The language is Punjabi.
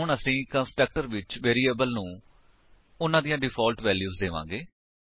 ਹੁਣ ਅਸੀ ਕੰਸਟਰਕਟਰ ਵਿੱਚ ਵੇਰਿਏਬਲਸ ਨੂੰ ਉਨ੍ਹਾਂ ਦੀਆਂ ਡਿਫਾਲਟ ਵੈਲਿਊਜ ਦੇਵਾਂਗੇ